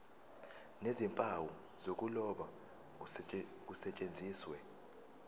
nezimpawu zokuloba kusetshenziswe